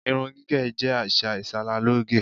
Irun gígè̩ jé̩ às̩à ìs̩aralóge.